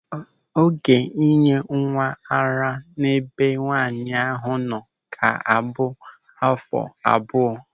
Oge ịnye nwa ara n'ebe nwaanyị ahụ nọ ga-abụ áfọ̀ abụọ.